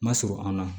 Ma surun an na